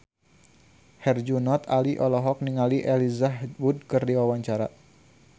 Herjunot Ali olohok ningali Elijah Wood keur diwawancara